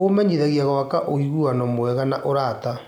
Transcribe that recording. Kũmateithagia gwaka ũiguano mwega na arata.